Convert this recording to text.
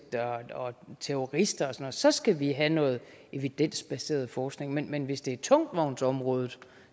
og terrorister og så skal vi have noget evidensbaseret forskning men men hvis det er tungvognsområdet